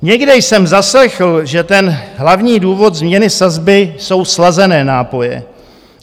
Někde jsem zaslechl, že ten hlavní důvod změny sazby jsou slazené nápoje.